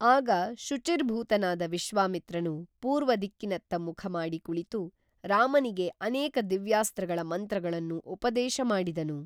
ಆಗ ಶುಚಿರ್ಭೂತನಾದ ವಿಶ್ವಾಮಿತ್ರನು ಪೂರ್ವದಿಕ್ಕಿನತ್ತ ಮುಖಮಾಡಿ ಕುಳಿತು ರಾಮನಿಗೆ ಅನೇಕ ದಿವ್ಯಾಸ್ತ್ರಗಳ ಮಂತ್ರಗಳನ್ನು ಉಪದೇಶ ಮಾಡಿದನು